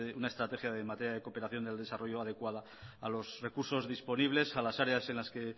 una estrategia de materia de cooperación del desarrollo adecuada a los recursos disponibles a las áreas en las que